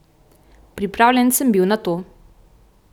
Pripravljen sem bil na to.